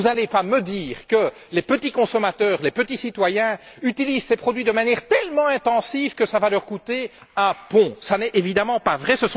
Vous n'allez pas me dire que les petits consommateurs, les petits citoyens utilisent ces produits de manière tellement intensive que ça va leur coûter un pont? Ce n'est évidemment pas vrai.